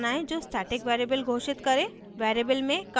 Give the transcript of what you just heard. एक क्लास बनायें जो static variable घोषित करे